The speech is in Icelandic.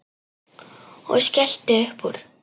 Og skellti upp úr.